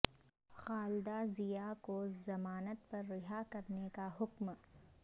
خالدہ ضیا کو ضمانت پر رہا کرنے کا حکم